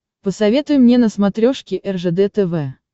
посоветуй мне на смотрешке ржд тв